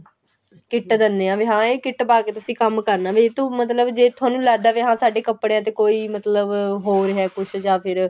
kit ਦਿਨੇ ਏ ਵੀ ਹਾਂ ਇਹ kit ਪਾ ਕੇ ਤੁਸੀਂ ਕੰਮ ਕਰਨਾ ਵੀ ਤੂੰ ਮਤਲਬ ਜੇ ਤੁਹਾਨੂੰ ਲਗਦਾ ਵੀ ਹਾਂ ਸਾਡੇ ਕਪੜਿਆ ਤੇ ਮਤਲਬ ਹੋ ਰਿਹਾ ਕੁੱਝ ਜਾਂ ਫੇਰ